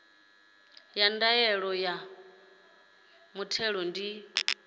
ya ndaela ya muthelo ndi